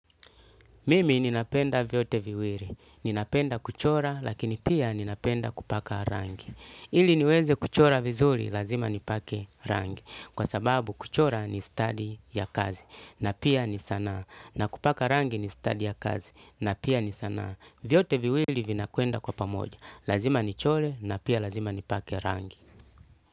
Mimi ninapenda vyote viwili. Ninapenda kuchora lakini pia ninapenda kupaka rangi. Ili niweze kuchora vizuri lazima nipake rangi. Kwa sababu kuchora ni stadi ya kazi. Na pia ni sanaa. Na kupaka rangi ni stadi ya kazi. Na pia ni sanaa. Vyote viwili vinakwenda kwa pamoja. Lazima nichore na pia lazima nipake rangi.